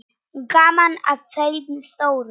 Gaman að þeim stóru.